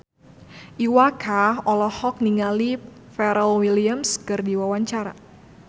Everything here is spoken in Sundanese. Iwa K olohok ningali Pharrell Williams keur diwawancara